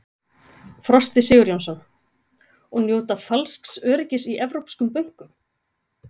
Frosti Sigurjónsson: Og njóta falsks öryggis í evrópskum bönkum?